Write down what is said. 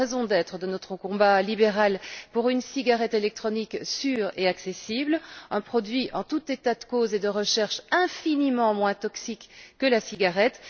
C'est la raison d'être de notre combat libéral pour une cigarette électronique sûre et accessible, un produit, en tout état de cause et d'après la recherche, infiniment moins toxique que la cigarette.